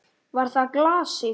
Var það glasið?